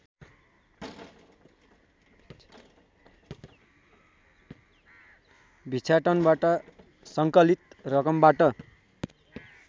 भिक्षाटनबाट सङ्कलित रकमबाट